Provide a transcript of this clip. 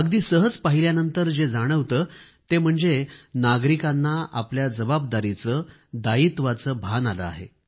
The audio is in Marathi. अगदी सरसकट पाहिल्यानंतर जे जाणवते ते म्हणजे नागरिकांना आपल्या जबाबदारीचे दायित्वाचे भान आले आहे